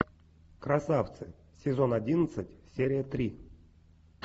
красавцы сезон одиннадцать серия три